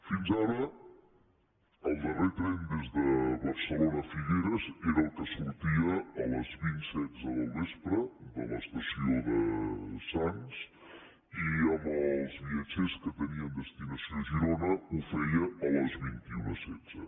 fins ara el darrer tren des de barcelona a figueres era el que sortia a les dos mil setze del vespre de l’estació de sants i amb els viatgers que tenien destinació a girona ho feia a les dos mil cent i setze